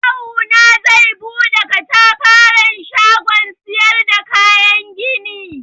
Kawuna zai buɗe katafaren shagon siyar da kayan gini.